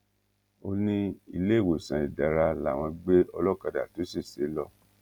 ó ní iléewòsàn ìdẹra làwọn gbé ọlọ́kadà tó ṣèṣe lọ